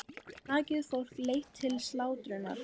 Nakið fólk leitt til slátrunar.